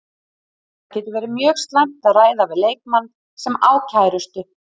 Það getur verið mjög slæmt að ræða við leikmann sem á kærustu.